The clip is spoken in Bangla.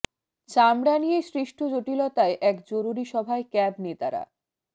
চামড়া নিয়ে সৃষ্ঠ জঠিলতায় এক জরুরী সভায় ক্যাব নেতারা